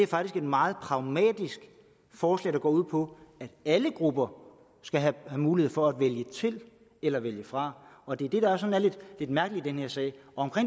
faktisk et meget pragmatisk forslag der går ud på at alle grupper skal have mulighed for at vælge til eller vælge fra og det er det der er sådan lidt mærkeligt i den her sag